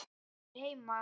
Er einhver heima?